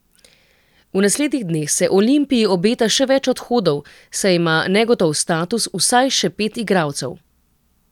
V naslednjih dneh se Olimpiji obeta še več odhodov, saj ima negotov status vsaj še pet igralcev.